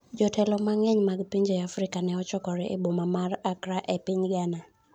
jotelo mang'eny mag pinje Afrika ne ochokore e boma ma Accra e piny Ghana